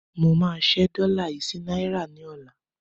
Mo máa ṣẹ́ dọ́là yí sí náírà ní ọ̀la